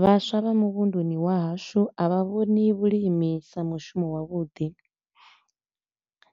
Vhaswa vha muvhunduni wa hashu a vha vhoni vhulimi sa mushumo wa vhuḓi.